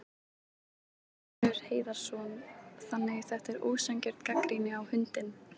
Magnús Hlynur Hreiðarsson: Þannig að þetta er ósanngjörn gagnrýni á hundinn?